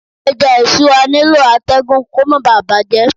Ẹja isura nílò atẹgun kó má bà bàjẹ́.